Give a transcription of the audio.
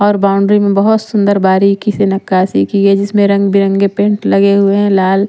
और बाउंड्री में बहुत सुंदर बारीकी से नक्काशी की है जिसमें रंग बिरंगे पेंट लगे हुए हैं लाल--